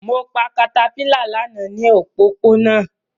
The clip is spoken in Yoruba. Mo pa caterpillar lana ni opopona